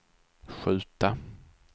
skjuta